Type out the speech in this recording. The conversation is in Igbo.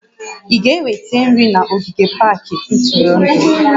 Ị ga-eweta nri na ogige pak ntụrụndụ?